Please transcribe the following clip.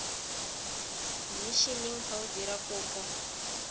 mmishineng fa o dira kopo